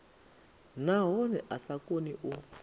nahone a sa koni u